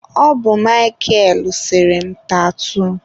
Ọ bụ Mịkel sere m tatuu.